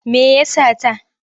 Me ya sata?